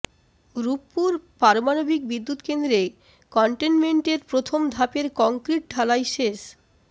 রূপপুর পারমাণবিক বিদ্যুৎকেন্দ্রে কনটেইনমেন্টের প্রথম ধাপের কংক্রিট ঢালাই শেষ